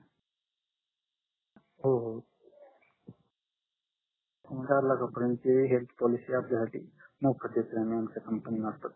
हो हो चार लाखा पर्यन्तची हेल्थ पोलिसी मोफत आहे आमच्या कंपनी मार्फत